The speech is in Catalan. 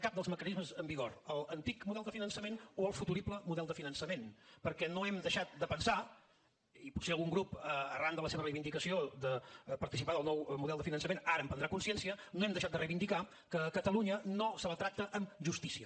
cap dels mecanismes en vigor l’antic model de finançament o el futurible model de finançament perquè no hem deixat de pensar i potser algun grup arran de la seva reivindicació de participar en el nou model de finançament ara en prendrà consciència no hem deixat de reivindicar que a catalunya no se la tracta amb justícia